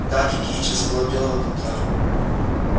гаки кичи забыла белого клыка